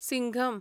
Singham